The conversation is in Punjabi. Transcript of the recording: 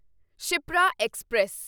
ਸ਼ਿਪਰਾ ਐਕਸਪ੍ਰੈਸ